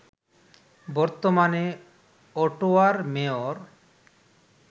বর্তমানে অটোয়ার মেয়র